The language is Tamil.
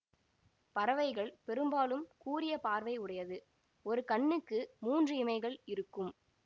பறவைகள் பெரும்பாலும் கூரிய பார்வை உடையது ஒரு கண்ணுக்கு மூன்று இமைகள் இருக்கும்